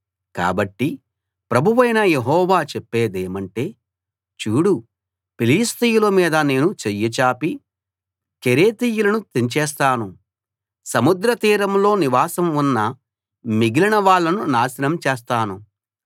కాబట్టి ప్రభువైన యెహోవా చెప్పేదేమంటే చూడు ఫిలిష్తీయుల మీద నేను చెయ్యి చాపి కెరేతీయులను తెంచేస్తాను సముద్ర తీరంలో నివాసం ఉన్న మిగిలిన వాళ్ళను నాశనం చేస్తాను